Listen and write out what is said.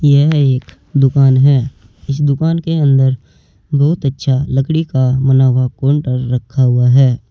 यह एक दुकान है इस दुकान के अंदर बहुत अच्छा लकड़ी का बना हुआ काउंटर रखा हुआ है।